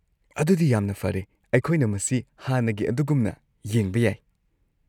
ꯑꯗꯨꯗꯤ ꯌꯥꯝꯅ ꯐꯔꯦ, ꯑꯩꯈꯣꯏꯅ ꯃꯁꯤ ꯍꯥꯟꯅꯒꯤ ꯑꯗꯨꯒꯨꯝꯅ ꯌꯦꯡꯕ ꯌꯥꯏ꯫